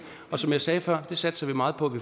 og som jeg sagde før satser vi meget på